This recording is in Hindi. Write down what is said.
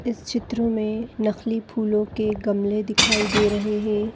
ए इस चित्र में नकली फूलो के गमले दिखाई दे रहे है।